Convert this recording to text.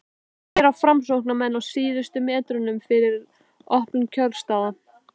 hvað gera framsóknarmenn á síðustu metrunum fyrir opnun kjörstaða?